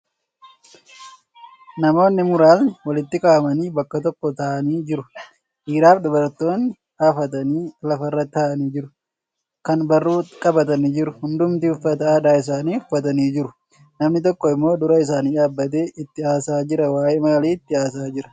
Namootni muraasni walitti qabamanii bakka tokko taa'anii jiru. Dhiiraafi dubartootni hafatanii lafarra taa'anii jiru. Kaan barruu qabatanii jiru. Hundumtuu uffata aadaa isaanii uffatanii jiru. Namni tokko immoo dura isaanii dhaabbatee itti haasa'aa jira. Waa'ee maalii itti haasa'aa jira?